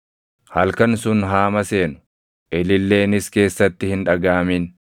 Halkan sun haa maseenu; ililleenis keessatti hin dhagaʼamin.